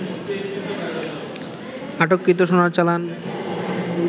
আটককৃত সোনার চালান